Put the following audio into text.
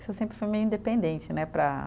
Isso sempre foi meio independente né, para.